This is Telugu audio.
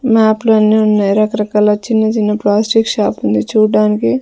మ్యాప్లు అన్ని ఉన్నాయ్ రకరకాల చిన్న చిన్న ప్లాస్టిక్ షాపుంది చూడ్డానికి--